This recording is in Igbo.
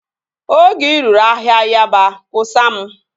Oge ị ruru ahịa Yaba, kwusaa m